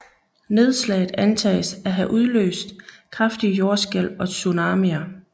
Nedslaget antages at have udløst kraftige jordskælv og tsunamier